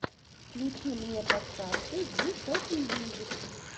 включи мне подкасты зи топмьюзик